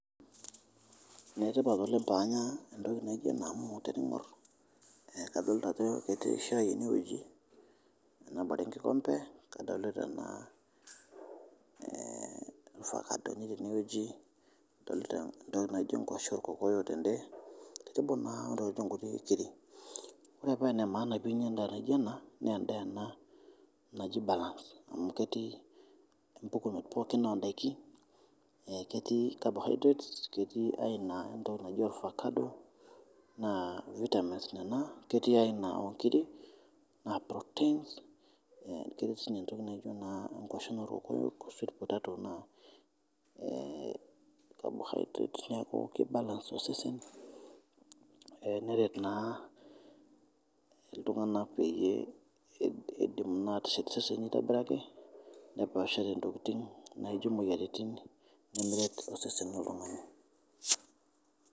Netipat oleng paanya entoki naijo amu tening'or kadolita ajo ketii eshai ene weji nabore enkikombe, kadolita naa ovacado etii eneweji, adolita naaijo ngoshen olkokoyo tende tenebo naa oniijo nkutii nkiri. Ore pee enemaana ppinya indaa nijo ena naa endaa ena naji balance amu ketii impukunot pookin ondaki, ketii carbohydrates, ketii aina entoki naji ovacado naa vitamins nena, ketii aina oonkiri naa proteins, ketii sii entoki naijo naa ngoshen oolkokoyo ashu sweet potato naa carbohydrate neaku keibalance osesen neret naa ltunganak peyie eidiim aateshet sesen aitobiraki nepaashare ntokitin naijo moyaritin nemeret osesen leltungani.